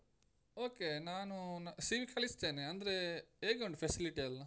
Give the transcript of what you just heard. Okay ನಾನು CV ಕಳಿಸ್ತೇನೆ ಅಂದ್ರೆ ಹೇಗುಂಟು facility ಎಲ್ಲಾ?